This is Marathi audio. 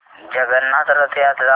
जगन्नाथ रथ यात्रा मला दाखवा